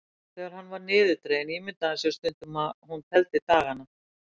Þegar hann var niðurdreginn ímyndaði hann sér stundum að hún teldi dagana.